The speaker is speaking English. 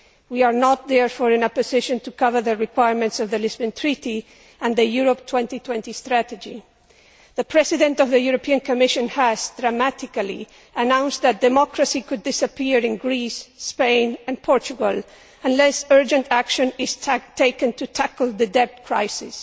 We are not therefore in a position to cover the requirements of the Lisbon Treaty and the Europe 2020 strategy. The President of the European Commission has dramatically announced that democracy could disappear in Greece, Spain and Portugal unless urgent action is taken to tackle the debt crisis.